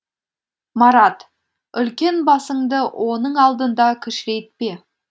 марат үлкен басыңды оның алдында кішірейтпе